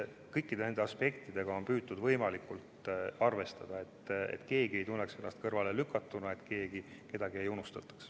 Kõikide nende aspektidega on püütud võimalikult palju arvestada, et keegi ei tunneks ennast kõrvale lükatuna, et kedagi ei unustataks.